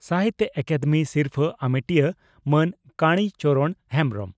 ᱥᱟᱦᱤᱛᱭᱚ ᱟᱠᱟᱫᱮᱢᱤ ᱥᱤᱨᱯᱷᱟᱹ ᱟᱢᱮᱴᱤᱭᱟᱹ ᱢᱟᱱ ᱠᱟᱲᱤ ᱪᱚᱨᱚᱬ ᱦᱮᱢᱵᱽᱨᱚᱢ